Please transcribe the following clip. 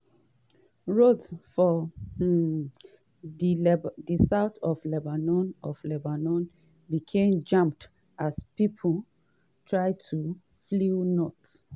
roads for um di south of lebanon of lebanon become jammed as pipo try to flee north.